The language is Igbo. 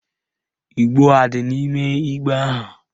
Igbo adị n'ime igbe ahụ?